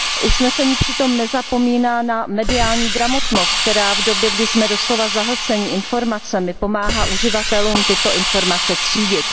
Usnesení přitom nezapomíná na mediální gramotnost, která v době, kdy jsme doslova zahlceni informacemi, pomáhá uživatelům tyto informace třídit.